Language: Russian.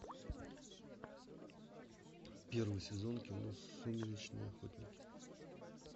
первый сезон кино сумеречные охотники